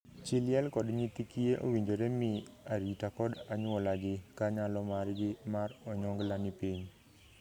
Chii liel kod nyithi kiye owinjore mii arita kod anyuolagi ka nyalo margi mar onyongla ni piny.